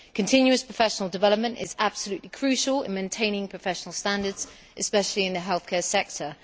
Continuous professional development is absolutely crucial in maintaining professional standards, especially in the healthcare sector.